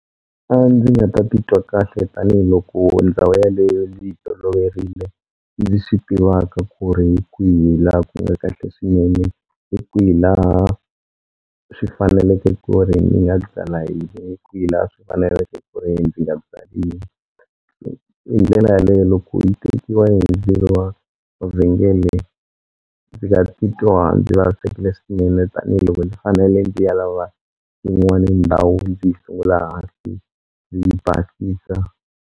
A ndzi nga ta titwa kahle tanihiloko ndhawu yaleyo ndzi yi toloverile ndzi swi tivaka ku ri hi kwihi laha ku nga kahle swinene hi kwihi laha swi faneleke ku ri ni nga byala kwihi laha swi faneleke ku ri ndzi nga byali hi ndlela yaleyo loko yi tekiwa hi wa wa vhengele ndzi nga titwa ndzi vavisekile swinene tanihiloko ndzi fanele ndzi ya lava yin'wani ndhawu ndzi yi sungula ndzi basisa.